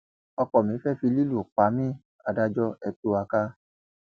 ọkọ mi ti fẹẹ fi lílù pa mí adájọ ẹ tú wa ká